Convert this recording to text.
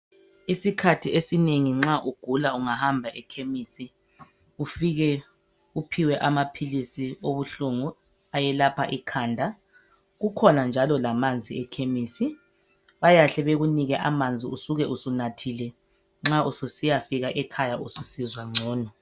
Isikhathi esinengi nxa ugula ungahamba eKhemisi ufike uphiwe amaphilisi obuhlungu ayelapha ikhanda . Kukhona njalo lamanzi eKhemisi , bayahle bekuphe amanzi usuke usunathile nxa ususiyafika ekhaya ususizwa ngcono.